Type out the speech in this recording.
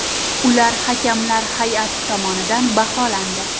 Ular hakamlar hay’ati tomonidan baholandi.